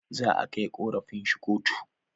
Za a kai korafin shi kotu